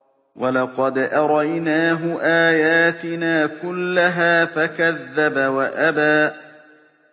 وَلَقَدْ أَرَيْنَاهُ آيَاتِنَا كُلَّهَا فَكَذَّبَ وَأَبَىٰ